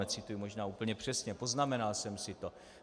Necituji možná úplně přesně, poznamenal jsem si to.